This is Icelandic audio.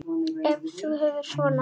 Ef þú hugsar svona.